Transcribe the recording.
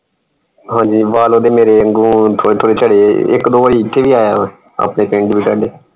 ਹਾਂਜੀ ਵਾਲ ਓਹਦੇ ਮੇਰੇ ਵਾਂਗੂ ਥੋੜੇ ਥੋੜੇ ਝੜੇ ਇਕ ਦੋ ਵਾਰੀ ਇਥੇ ਵੀ ਆਇਆ ਵਾ ਆਪਣੇ